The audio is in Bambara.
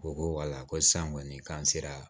U ko wala ko san kɔni k'an sera